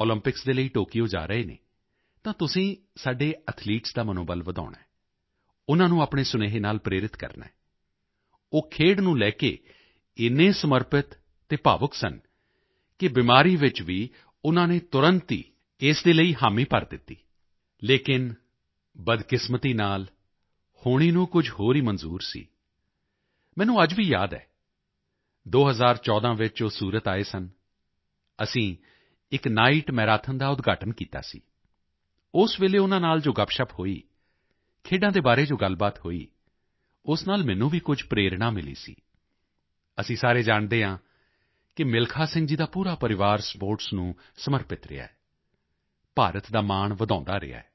Olympics ਦੇ ਲਈ Tokyo ਜਾ ਰਹੇ ਹਨ ਤਾਂ ਤੁਸੀਂ ਸਾਡੇ ਐਥਲੀਟਸ ਦਾ ਮਨੋਬਲ ਵਧਾਉਣਾ ਹੈ ਉਨ੍ਹਾਂ ਨੂੰ ਆਪਣੇ ਸੁਨੇਹੇ ਨਾਲ ਪ੍ਰੇਰਿਤ ਕਰਨਾ ਹੈ ਉਹ ਖੇਡ ਨੂੰ ਲੈ ਕੇ ਇੰਨੇ ਸਮਰਪਿਤ ਅਤੇ ਭਾਵੁਕ ਸਨ ਕਿ ਬਿਮਾਰੀ ਵਿੱਚ ਵੀ ਉਨ੍ਹਾਂ ਨੇ ਤੁਰੰਤ ਹੀ ਇਸ ਦੇ ਲਈ ਹਾਮੀ ਭਰ ਦਿੱਤੀ ਲੇਕਿਨ ਬਦਕਿਸਮਤੀ ਨਾਲ ਹੋਣੀ ਨੂੰ ਕੁਝ ਹੋਰ ਹੀ ਮਨਜ਼ੂਰ ਸੀ ਮੈਨੂੰ ਅੱਜ ਵੀ ਯਾਦ ਹੈ 2014 ਵਿੱਚ ਉਹ ਸੂਰਤ ਆਏ ਸਨ ਅਸੀਂ ਇਕ ਨਾਈਟ ਮੈਰਾਥਨ ਦਾ ਉਦਘਾਟਨ ਕੀਤਾ ਸੀ ਉਸ ਵੇਲੇ ਉਨ੍ਹਾਂ ਨਾਲ ਜੋ ਗੱਪਸ਼ੱਪ ਹੋਈ ਖੇਡਾਂ ਦੇ ਬਾਰੇ ਜੋ ਗੱਲਬਾਤ ਹੋਈ ਉਸ ਨਾਲ ਮੈਨੂੰ ਵੀ ਕੁਝ ਪ੍ਰੇਰਣਾ ਮਿਲੀ ਸੀ ਅਸੀਂ ਸਾਰੇ ਜਾਣਦੇ ਹਾਂ ਕਿ ਮਿਲਖਾ ਸਿੰਘ ਜੀ ਦਾ ਪੂਰਾ ਪਰਿਵਾਰ ਸਪੋਰਟਸ ਨੂੰ ਸਮਰਪਿਤ ਰਿਹਾ ਹੈ ਭਾਰਤ ਦਾ ਮਾਣ ਵਧਾਉਂਦਾ ਰਿਹਾ ਹੈ